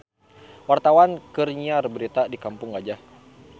Wartawan keur nyiar berita di Kampung Gajah